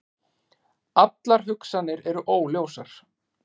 Allar hugsanir eru óljósar.